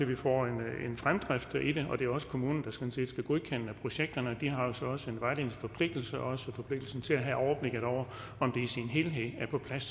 vi får en fremdrift og det er også kommunen der skal godkende projekterne de har jo så også en vejledningsforpligtelse og også en forpligtelse til at have overblikket over om det i sin helhed er på plads